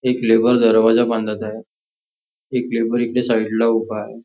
एक लेबर दरवाज्या बांधत आहे एक लेबर इकडे साईडला उभाय.